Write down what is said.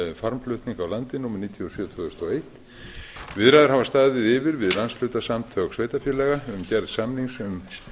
farmflutninga á landi númer níutíu og sjö tvö þúsund og eitt viðræður hafa staðið yfir við landshlutasamtök sveitarfélaga um gerð samnings um